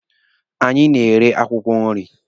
Anyị na-ere akwụkwọ nri.